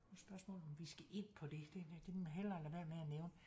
Nu spørgsmålet om vi skal ind på det det må jeg hellere lade være med at nævne